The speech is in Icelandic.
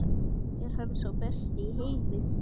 Er hann sá besti í heimi?